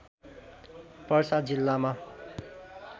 पर्सा जिल्लामा